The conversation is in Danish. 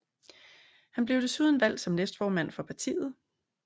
Han blev desuden valgt som næstformand for partiet